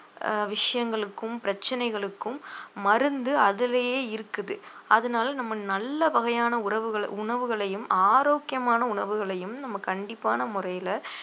அஹ் விஷயங்களுக்கும் பிரச்சனைகளுக்கும் மருந்து அதிலேயே இருக்குது அதனால நம்ம நல்ல வகையான உறவுகள~ உணவுகளையும் ஆரோக்கியமான உணவுகளையும் நம்ம கண்டிப்பான முறையில